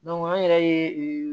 an yɛrɛ ye